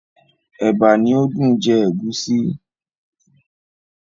Ẹ̀bà ni ó dùn jẹ ègúsí.